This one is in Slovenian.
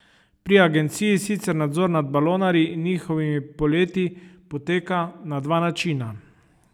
Pri agenciji sicer nadzor nad balonarji in njihovimi poleti poteka na dva načina.